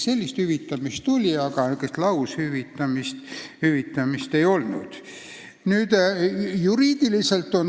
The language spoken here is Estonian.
Sellist hüvitamist oli, aga laushüvitamist ei olnud.